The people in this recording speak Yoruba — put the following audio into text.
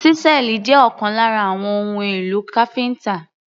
Ṣísẹ́ẹ̀lì jẹ́ ọ̀kan lára àwọn ohun èlò káfíńtà.